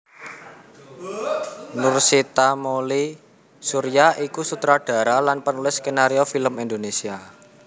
Nursita Mouly Surya iku sutradara lan penulis skenario film Indonesia